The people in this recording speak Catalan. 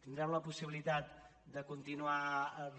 tindrem la possibilitat de continuar